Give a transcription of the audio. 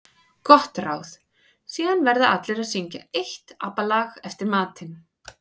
Gott ráð: Síðan verða allir að syngja eitt ABBA lag eftir matinn.